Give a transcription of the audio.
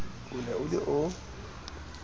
o ne o le o